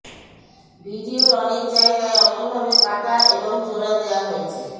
ভিডিওর অনেক জায়গায় অমনভাবে কাটা এবং জোড়া দেওয়া হয়েছে